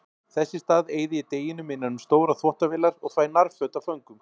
Þess í stað eyði ég deginum innan um stórar þvottavélar og þvæ nærföt af föngum.